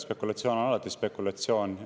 Spekulatsioon on alati spekulatsioon.